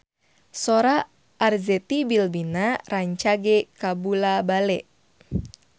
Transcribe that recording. Sora Arzetti Bilbina rancage kabula-bale